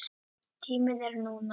Tíminn er núna.